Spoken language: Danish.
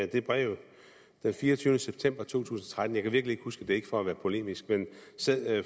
det brev den fireogtyvende september 2013 jeg kan virkelig ikke huske det ikke for at være polemisk men sad